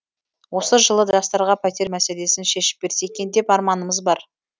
осы жылы жастарға пәтер мәселесін шешіп берсе екен деп арманымыз бар